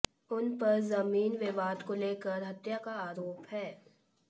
उन पर जमीन विवाद को लेकर हत्या का आरोप है